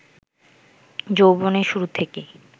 যৌবনের শুরু থেকেই